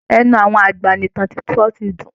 Ẹnu àwọn àgbà ni ìtàn sísọ ti dùn